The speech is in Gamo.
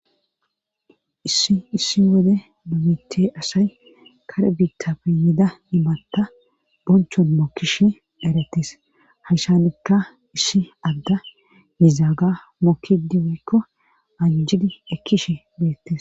issi issi wode bubite asay kare biita peyida imatta bonchon mokkishe erettis hashanikka issi agga nizaaga mokkidi woykko anjidi ekkishe beettes